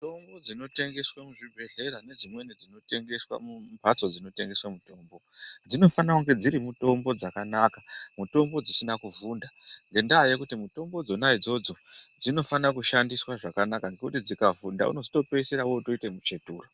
Mitombo dzinotengeswa muzvibhedhlera nedzimweni dzinotengeswa mumhatso dzinotengeswa mitombo dzinofana kunge dziri mitombo dzakanaka mitombo dzisina kuvhunda ngekuti dzikavhunda ngendaa yekuti mitombo dzona idzodzo dzinofana kushandiswa zvakanaka ngekuti dzikavhunda unozotopedzesera dzamuchetura.